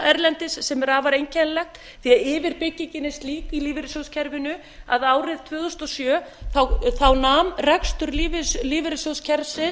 erlendis sem er afar einkennilegt því að yfirbyggingin er slík í lífeyrissjóðakerfinu að árið tvö þúsund og sjö nam rekstur lífeyrissjóðskerfisins